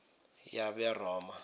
yaberoma